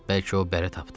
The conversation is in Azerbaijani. Bəlkə o bərə tapdı.